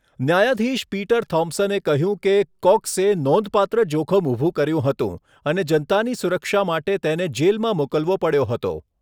ન્યાયાધીશ પીટર થોમ્પસને કહ્યું કે કોક્સે નોંધપાત્ર જોખમ ઊભું કર્યું હતું અને જનતાની સુરક્ષા માટે તેને જેલમાં મોકલવો પડ્યો હતો.